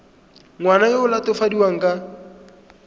ngwana yo o latofadiwang ka